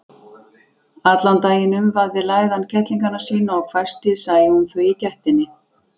Allan daginn umvafði læðan kettlingana sína og hvæsti sæi hún þau í gættinni.